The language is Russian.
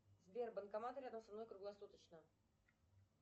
сбер банкомат рядом со мной круглосуточно